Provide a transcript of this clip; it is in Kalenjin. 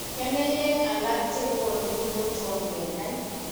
Keneyeek alak chekoonu kotom kenai.